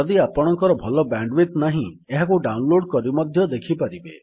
ଯଦି ଆପଣଙ୍କର ଭଲ ବ୍ୟାଣ୍ଡୱିଡଥ୍ ନାହିଁ ଏହାକୁ ଡାଉନଲୋଡ୍ କରି ମଧ୍ୟ ଦେଖିପାରିବେ